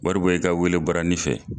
Wari bɔ i ka wele baranin fɛ.